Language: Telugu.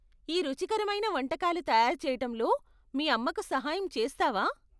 ఈ రుచికరమైన వంటకాలు తయారు చేయటంలో మీ అమ్మకు సహాయం చేస్తావా?